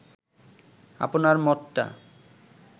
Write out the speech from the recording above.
আপনার মতটা